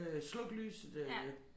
Øh slukke lyset øh